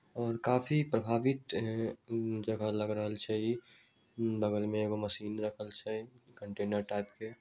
और काफी प्रभावित अ ज-जगह लग रहल छै इ बगल में एगो मशीन रखल छै कंटेनर टाइप के---